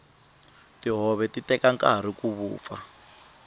tihove ti teka nkarhi ku vupfa